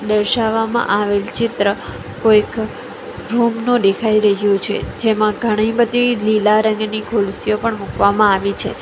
દર્શાવામાં આવેલ ચિત્ર કોઈક રૂમ નો દેખાય રહ્યું છે જેમા ઘણી બધી લીલા રંગની ખુરસીઓ પણ મૂકવામાં આવી છે.